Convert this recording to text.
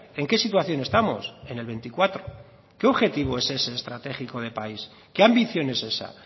en qué situación estamos en el veinticuatro qué objetivo es ese estratégico de país qué ambición es esa